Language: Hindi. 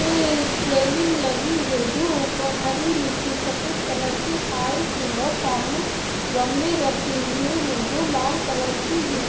ये रेलिंग लगी है जो ऊपर हरी नीचे सफेद कलर के पाइप हैं और सामने गमले रखे हुए है जो लाल कलर की है।